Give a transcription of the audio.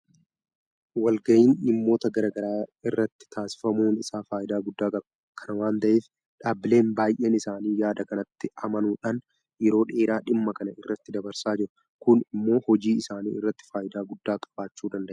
Walgahiin dhiimmoota garaa garaa irratti taasifamuun isaa faayidaa guddaa qaba. Kana waanta ta'eef dhaabbileen baay'een isaanii yaada kanatti amanuudhaan yeroo dheeraa dhimma kana irratti dabarsaa jiru. Kun immoo hojii isaanii irratti faayidaa guddaa qabaachuu danda'eera.